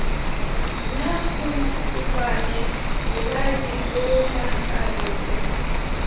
nna khutshwane leba diponagalo tse